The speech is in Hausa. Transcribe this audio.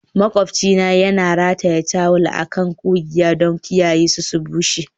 Maƙwabcina yana rataye tawul a kan ƙugiya don kiyaye su bushe.